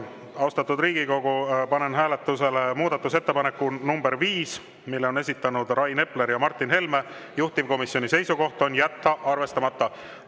Austatud Riigikogu, panen hääletusele muudatusettepaneku nr 5, mille on esitanud Rain Epler ja Martin Helme, juhtivkomisjoni seisukoht on jätta see arvestamata.